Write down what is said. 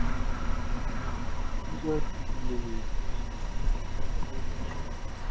ਰਾਤੀਂ ਵੀ ਮੈਂ ਖੰਗ ਦਾ ਹੀ ਰਿਹਾ ਸੀ ਨਾ ਮੈਂ